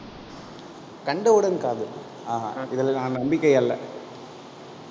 கண்டவுடன் காதல், ஆஹான் இதுல நான் நம்பிக்கை அல்ல